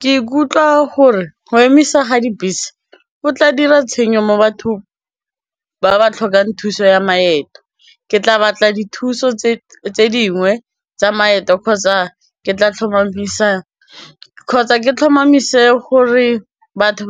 Ke ikutlwa gore go emisa ga dibese go tla dira tshenyo mo bathong ba ba tlhokang thuso ya maeto, ke tla batla dithuso tse dingwe tsa maeto kgotsa ke tlhomamise gore batho